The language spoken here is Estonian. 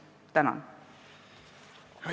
Tänan!